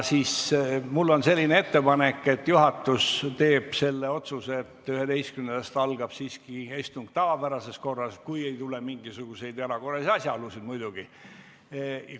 Mul on selline ettepanek, et juhatus teeb otsuse, et 11. kuupäevast toimuvad istungid tavapärases korras, kui ei teki mingisuguseid erakorralisi asjaolusid muidugi.